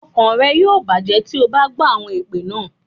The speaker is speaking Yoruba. Ọkàn rẹ̀ yóò bàjẹ́ bí o bá gbọ́ àwọn èpè náà.